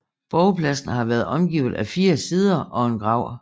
Borgpladsen har været omgivet af fire sider og en grav